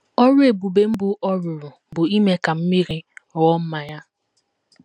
Ọrụ ebube mbụ ọ rụrụ bụ ime ka mmiri ghọọ mmanya.